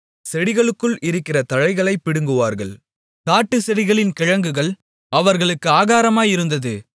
செடிகளுக்குள் இருக்கிற தழைகளைப் பிடுங்குவார்கள் காட்டுசெடிகளின் கிழங்குகள் அவர்களுக்கு ஆகாரமாயிருந்தது